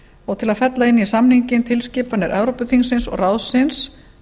og til að fella inn í samninginn tilskipanir evrópuþingsins og ráðsins